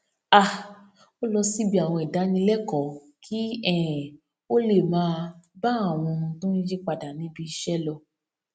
um ó lọ síbi àwọn ìdánilékòó kí um ó lè máa bá àwọn ohun tó ń yí padà níbi iṣé lọ